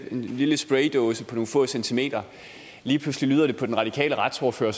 en lille spraydåse på nogle få centimeter lige pludselig på den radikale retsordfører